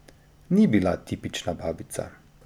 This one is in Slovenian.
Ni bila tipična babica.